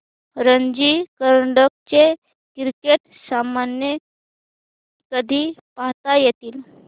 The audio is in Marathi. रणजी करंडक चे क्रिकेट सामने कधी पाहता येतील